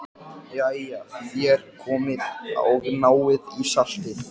Jæja, þér komið og náið í saltið.